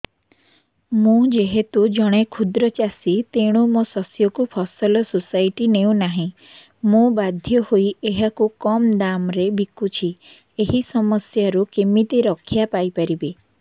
ମୁଁ ଯେହେତୁ ଜଣେ କ୍ଷୁଦ୍ର ଚାଷୀ ତେଣୁ ମୋ ଶସ୍ୟକୁ ଫସଲ ସୋସାଇଟି ନେଉ ନାହିଁ ମୁ ବାଧ୍ୟ ହୋଇ ଏହାକୁ କମ୍ ଦାମ୍ ରେ ବିକୁଛି ଏହି ସମସ୍ୟାରୁ କେମିତି ରକ୍ଷାପାଇ ପାରିବି